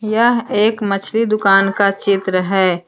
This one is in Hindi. यह एक मछली दुकान का चित्र है।